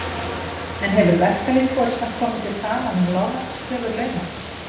En hefur verkalýðsforystan komið sér saman um lágmarkskröfur launa?